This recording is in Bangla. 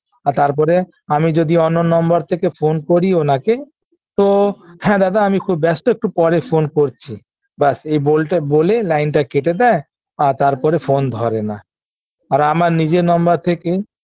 আর তারপরে আমি যদি অন্য number থেকে phone করি ওনাকে তো হ্যাঁ দাদা আমি খুব ব্যস্ত একটু পরে phone করছি ব্যস এই বোলটা বলে line -টা কেটে দেয় আর তারপরে phone ধরে না আর আমার নিজের number থেকে